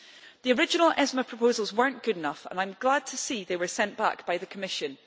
The original ESME proposals were not good enough and I am glad to see they were sent back by the Commission.